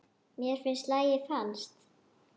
Mér finnst lagið falskt.